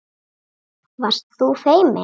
Varst þú feimin?